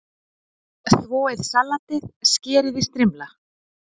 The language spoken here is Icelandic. Þvoið salatið, skerið í strimla.